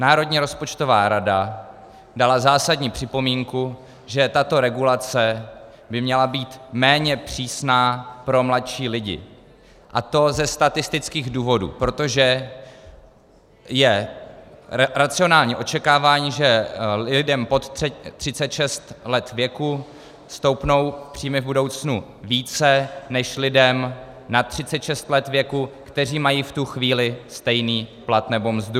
Národní rozpočtová rada dala zásadní připomínku, že tato regulace by měla být méně přísná pro mladší lidi, a to ze statistických důvodů, protože je racionální očekávání, že lidem pod 36 let věku stoupnou příjmy v budoucnu více než lidem nad 36 let věku, kteří mají v tu chvíli stejný plat nebo mzdu.